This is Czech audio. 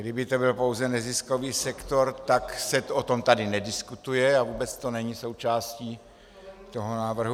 Kdyby to byl pouze neziskový sektor, tak se o tom tady nediskutuje a vůbec to není součástí toho návrhu.